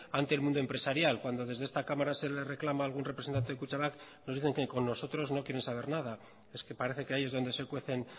ante el mundo empresarial cuando desde esta cámara se le reclama algún representante de kutxabank nos dicen que con nosotros no quieren saber nada es que parece que ahí es donde se cuecen